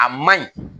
A maɲi